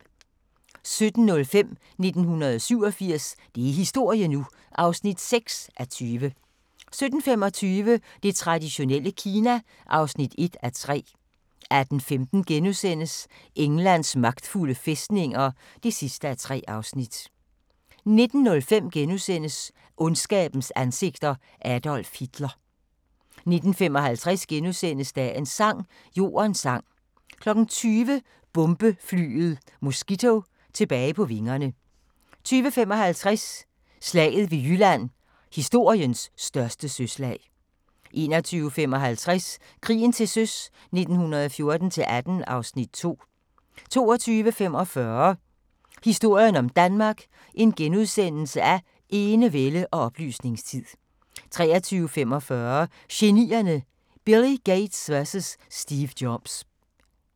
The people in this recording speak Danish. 17:05: 1987 – det er historie nu! (6:20) 17:25: Det traditionelle Kina (1:3) 18:15: Englands magtfulde fæstninger (3:3)* 19:05: Ondskabens ansigter – Adolf Hitler * 19:55: Dagens sang: Jordens sang * 20:00: Bombeflyet Mosquito tilbage på vingerne 20:55: Slaget ved Jylland – historiens største søslag 21:55: Krigen til søs 1914-18 (Afs. 2) 22:45: Historien om Danmark: Enevælde og oplysningstid * 23:45: Genierne: Billy Gates vs Steve Jobs